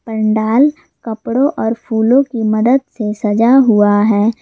पंडाल कपड़ों और फूलों की मदद से सजा हुआ है।